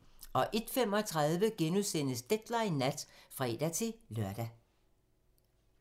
01:35: Deadline nat *(fre-lør)